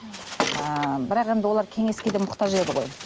ііі бірақ енді олар кеңеске де мұқтаж еді ғой